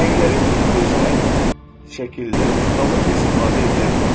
Rəngləri çox gözəl şəkildə ustalıqla istifadə edirdi.